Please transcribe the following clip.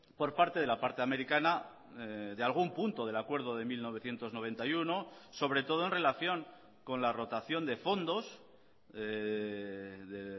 por parte de la parte americana de algún punto del acuerdo de mil novecientos noventa y uno sobre todo en relación con la rotación de fondos de